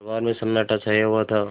दरबार में सन्नाटा छाया हुआ था